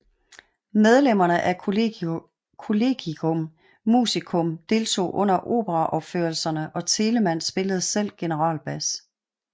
Medlemmer af collegium musicum deltog under operaopførelserne og Telemann spillede selv generalbas